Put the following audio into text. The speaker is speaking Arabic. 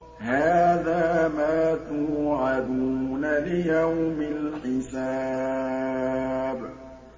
هَٰذَا مَا تُوعَدُونَ لِيَوْمِ الْحِسَابِ